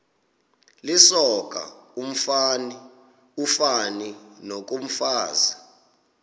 lisoka ufani nokomfazi